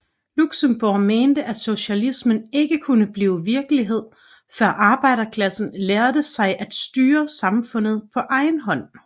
Luxembourg mente at socialismen ikke kunne blive virkelighed før arbejderklassen lærte sig at styre samfundet på egen hånd